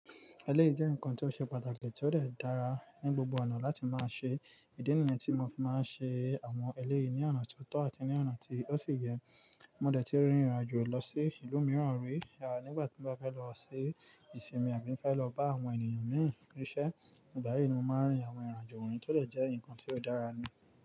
Eleyi jẹ́ nǹkan tó ṣe pàtàkì tí ó dẹ̀ dára ní gbogbo ọ̀nà láti máa ṣe. Ìdí nìyẹn tí mo fi máa ń ṣe àwọn eleyi ní ọ̀nà tí ó tọ́ àti ní ọ̀nà tí ó sì yẹ. Mo dẹ̀ ti rìnrìnàjò lọ sí ìlú mìíràn rí nígbà tí mo bá fẹ́ lọ sí ìsinmi àbí fẹ́ lọ bá àwọn ènìyàn míì fún ṣẹ. Ìgbà yí ni mo máa ń rìn àwọn irinàjò wọnyi tí ó dẹ jẹ́ nǹkan tí ó dára ni.